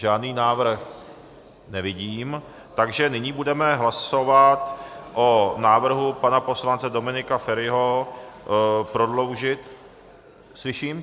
Žádný návrh nevidím, takže nyní budeme hlasovat o návrhu pana poslance Dominika Feriho prodloužit - slyším?